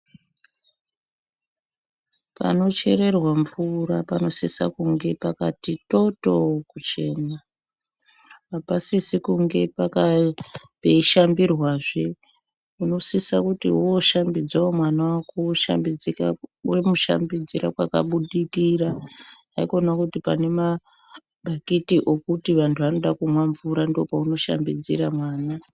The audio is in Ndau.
Panochererwa mvura panosisa kunge pakati toto kuchena. Hapasisi kunge peishambirwazve, unosisa kuti woshambidzawo mwana wako womushambidzira kwakabudikira. Haikona kuti pane mabhakiti okuti vantu vanoda kumwa mvura ndopowoshambidzira mwana.